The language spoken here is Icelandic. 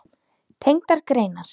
Tengdar greinar